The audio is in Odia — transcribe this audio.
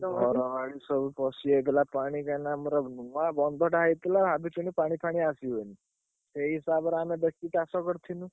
ଘର ବାଡି ସବୁ ପଶିଯାଇଥିଲା ପାଣି କାଇଁକି ଆମର